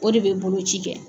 O de bɛ boloci kɛ.